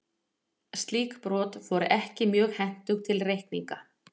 Slík brot voru ekki mjög hentug til reikninga.